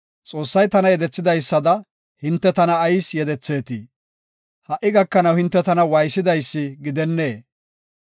Xoossay tana yedetheysada, hinte tana ayis yedetheetii? ha77i gakanaw hinte tana waaysidaysi gidennee?